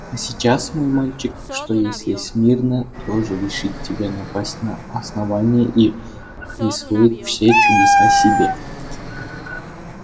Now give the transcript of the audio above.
а сейчас мой мальчик что если смирно тоже решить тебе напасть на основание и присвоить все чудеса себе